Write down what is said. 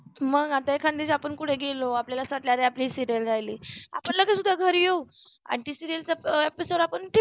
मग आपण एखादे कुठे गेलो आणि आपल्याला असं वाटलं आपली serial राहिली आपण लगेच उद्या घरी येऊ आणि त्या serial चा episode आपण ते